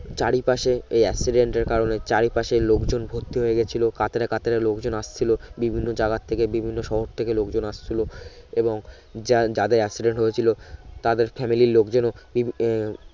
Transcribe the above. চারি পাশে এই accident এর কারণে চারি পাশে লোকজন ভর্তি হয়ে গেছিলো কাতারে কাতারে লোকজন আসছিলো বিভিন্ন জায়গা থেকে বিভিন্ন শহর থেকে লোকজন আসছিলো এবং যার যাদের accident হয়েছিলো তাদের family লোকজন বি আহ